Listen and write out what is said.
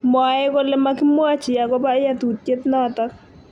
Mwae kole makimwachi agobo yautiet notok.